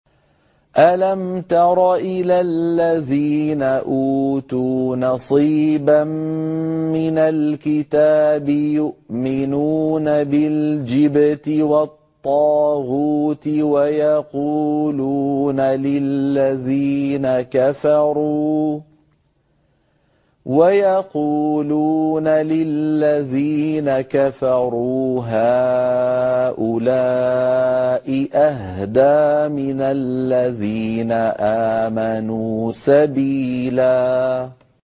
أَلَمْ تَرَ إِلَى الَّذِينَ أُوتُوا نَصِيبًا مِّنَ الْكِتَابِ يُؤْمِنُونَ بِالْجِبْتِ وَالطَّاغُوتِ وَيَقُولُونَ لِلَّذِينَ كَفَرُوا هَٰؤُلَاءِ أَهْدَىٰ مِنَ الَّذِينَ آمَنُوا سَبِيلًا